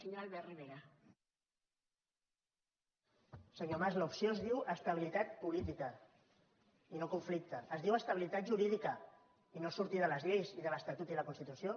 senyor mas l’opció es diu estabilitat política i no conflicte es diu estabilitat jurídica i no sortir de les lleis i de l’estatut i la constitució